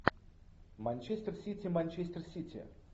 манчестер сити манчестер сити